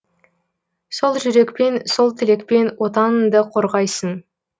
сол жүрекпен сол тілекпен отаныңды қорғайсын